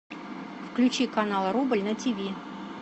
включи канал рубль на тв